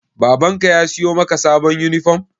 Baban ka ya siyo maka sabon yunifom?